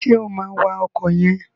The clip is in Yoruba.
Ṣé o máa wa ọkọ̀ yẹn?